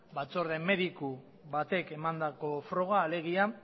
batzorde mediku batek emandako froga alegia